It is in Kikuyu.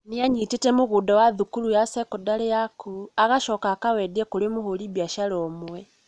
nĩanyiitĩte mũgũnda wa thukuru ya sekondarĩ ya kũu agacoka akamendia kũrĩ mũhũri biacara ũmwe